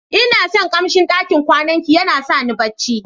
lna son kamsin ɗakin kwanan ki, yana sa ni barci.